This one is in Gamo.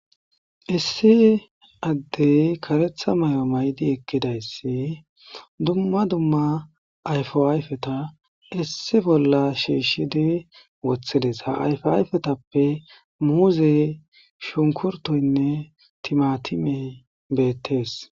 Issi adey karetha mayo mayidi eqidays duma duma ayipa ayipeta kesi issibolla kesidi wothides ha ayipetape muze shukurutoyine timatimey betes